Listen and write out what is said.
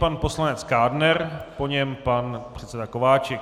Pan poslanec Kádner, po něm pan předseda Kováčik.